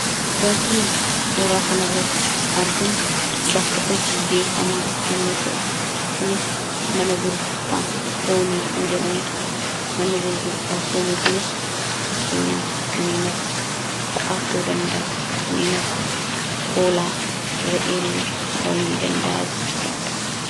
wanti nuti suuraa kanirratti arginu bakka hojii beekamaa yommu ta'u kunis mana gurgurtaa foonii kan jedhamudha manni gurgurtaa foonii kunis rakkeenyaa kanneenakka sa'aa ta'uu dandaa kanneen akka hoolaa ra'eellee ta'unii danda'a jechuudha